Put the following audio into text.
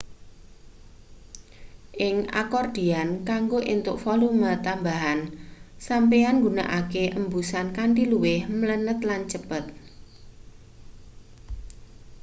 ing akordian kanggo entuk volume tambahan sampeyan nggunakake embusan kanthi luwih mlenet lan cepet